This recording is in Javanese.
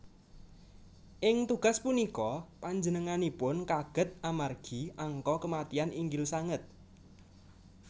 Ing tugas punika panjenenganipun kaget amargi angka kematian inggil sanget